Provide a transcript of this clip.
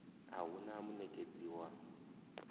a hu na munekedzi wa